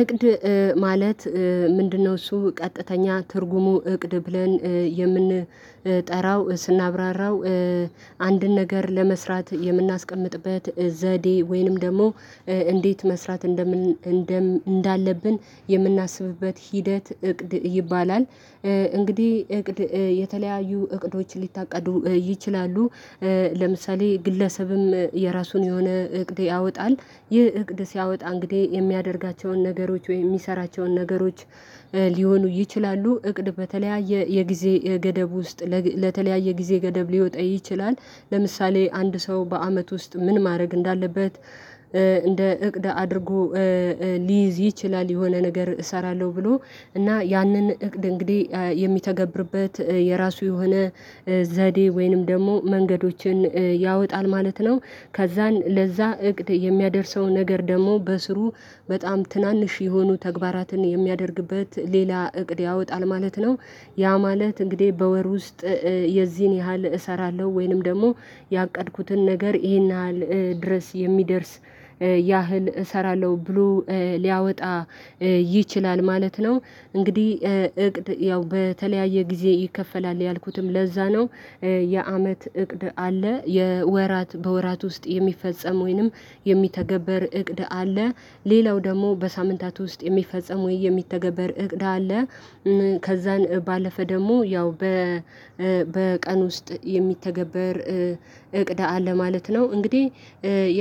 እቅድ ማለት ምንድነው? እሱ ቀጥተኛ ትርጉሙ እቅድ ብለን የምንጠራው ስናብራራው አንድን ነገር ለመስራት የምናስቀምጥበት ዘዴ ወይንም ደግሞ እንዴት መስራት እንደምን እንዳለብን የምናስብበት ሂደት እቅድ ይባላል። እንግዲህ እቅድ የተለያዩ እቅዶችን ሊታቀዱ ይችላሉ። ለምሳሌ ግለሰብም የራሱን የሆነ እቅድ ያወጣል ይህ እቅድ ሲያወጣ እንግዲህ የሚያደርጋቸውን ነገሮች ወይም የሚሰራቸውን ነገሮች ሊሆኑ ይችላሉ እቅድ በተለያየ የጊዜ ገደብ ውስጥ ለተለያየ ጊዜ ገደብ ሊወጣ ይችላል። ለምሳሌ አንድ ሰው በአመት ውስጥ ምን ማድረግ እንዳለበት እንደ እቅድ አድርጎ ሊይዝ ይችላል የሆነ ነገር እሰራለሁ ብሎ እና ያንን እቅድ እንግዲህ የሚተገብርበት የራሱ የሆነ ዘዴ ወይንም ደግሞ መንገዶችን ያወጣል ማለት ነው። ከዛን ለዛ እቅድ የሚያደርሰው ነገር ደግሞ በስሩ በጣም ትናንሽ የሆኑ ተግባራትን የሚያደርግበት ሌላ እቅድ ያወጣል ማለት ነው። ያ ማለት እንግዲህ በወር ውስጥ የዚህን ያህል እሰራለሁ ወይንም ደግሞ ያቀድኩትን ነገር ይሄን ያህል ድረስ የሚደርስ ያህል እሰራለሁ ብሎ ሊያወጣ ይችላል ማለት ነው። እንግዲህ እቅድ ያው በተለያየ ጊዜ ይከፈላል ያልኩትም ለዚያ ነው የአመት እቅድ አለ የወራት በወራት ውስጥ የሚፈጸም ወይንም የሚተገበር እቅድ አለ። ሌላው ደግሞ በሳምንታት ውስጥ የሚፈጸም ወይ የሚተገበር እቅዳ አለ ከዛን ባለፈ ደግሞ ያው በ በቀን ውስጥ የሚተገበር እቅድ አለ ማለት ነው። እንግዲህ